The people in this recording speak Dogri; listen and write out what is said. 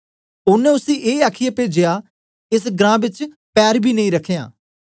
ओनें उसी ए आखीयै पेजया एस ग्रां बेच पैर बी नेई रखयां